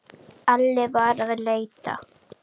Alli var að leita.